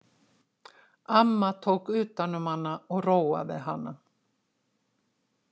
Amma tók utan um hana og róaði hana.